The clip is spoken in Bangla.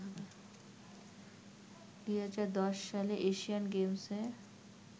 ২০১০ সালের এশিয়ান গেমসে